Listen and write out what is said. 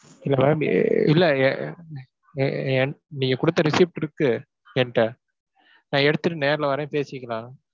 இல்லை ma'am அஹ் இல்லை என்~ என்~ நீங்கக் கொடுத்த receipt இருக்கு என்கிட்ட. நான் எடுத்துட்டு நேர்ல வர்றேன் பேசிக்கலாம்.